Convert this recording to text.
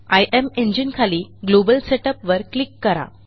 इमेंजीने खाली global setup वर click करा